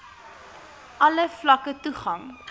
alle vlakke toegang